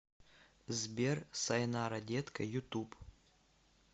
сбер сайнара детка ютуб